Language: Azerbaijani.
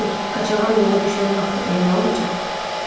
Kim bilir, qaçağan yola düşən vaxtadək nə olacaq?